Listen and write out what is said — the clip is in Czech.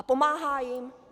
A pomáhá jím?